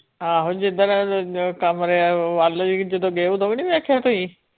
ਆਹੋ ਜਿੱਦਣ ਕਮਰੇ ਵੱਲ ਹੀ ਜਦੋਂ ਗਏ ਉਦੋਂ ਵੀ ਨੀ ਵੇਖਿਆ ਤੁਸੀਂ?